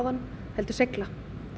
heldur seigla